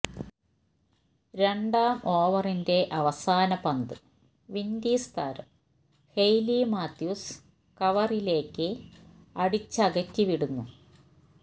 രണ്ടാം ഓവറിന്റെ അവസാന പന്ത് വിന്ഡീസ് താരം ഹെയ്ലി മാത്യൂസ് കവറിലേക്ക് അടിച്ചകറ്റി വിടുന്നു